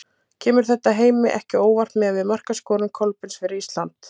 Kemur þetta Heimi ekki á óvart miðað við markaskorun Kolbeins fyrir Ísland?